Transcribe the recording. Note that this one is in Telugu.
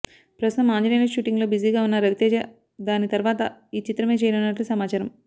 ప్రస్తుతం ఆంజనేయులు షూటింగ్ లో బిజీగా ఉన్న రవితేజ దాని తర్వాత ఈ చిత్రమే చేయనున్నట్లు సమాచారం